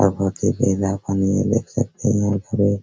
और बहुत ही ज्यादा पानी है देख सकते है --